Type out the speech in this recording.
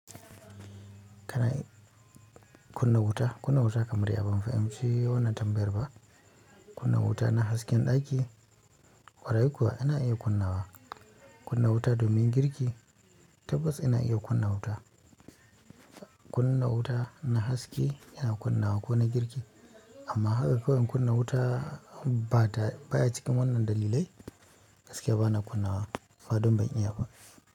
Kana kunna wuta, kunna wuta kamar ya? Ban fahimci wannan tambayar ba, kunna wuta na hasken ɗaki, ƙwarai kuwa ina iya kunna wa. Kunna wuta domin girki tabbas ina iya kunna wuta. Kunna wuta na haske yana kunna wa ko na girki amma haka kawai in kunna wutaa ba ta baya cikin wannan dalilai gaskiya ba na kunna wa faɗin ban iya ba.